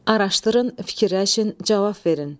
Araşdırın, fikirləşin, cavab verin.